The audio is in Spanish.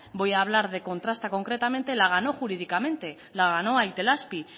voy a hablar de contrasta concretamente la ganó jurídicamente la ganó a itelazpi